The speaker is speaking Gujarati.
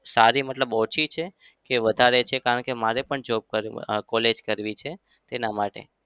સારી મતલબ ઓછી છે કે વધારે છે? કારણ કે મારે પણ job કર college કરવી છે તેના માટે.